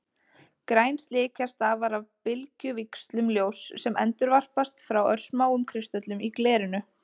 Græn slikja stafar af bylgjuvíxlum ljóss sem endurvarpast frá örsmáum kristöllum í glerinu.